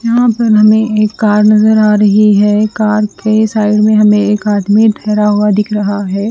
यहाँ पर हमे एक कार नजर आ रही है एक कार के साइड मे एक आदमी ठेरा हुआ दिख रहा है।